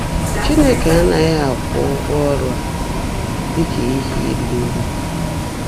Chínekè ánághị́ ákwụ́ ụ́gwọ́ ọ́rụ́ á ḍị́ kà íhe írí ngó.